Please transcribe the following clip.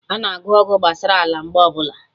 Ana anụ ọgụ gbasara ala mgbe ọbụla